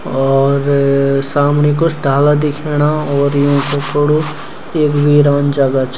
और सामणी कुछ डाला दिख्येणा और यूं कु कुडू ऐक वीरान जगा च।